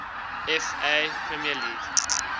fa premier league